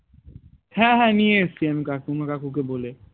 হ্যাঁ হ্যাঁ নিয়ে এসেছি আমি কাকিমা কাকুকে বলে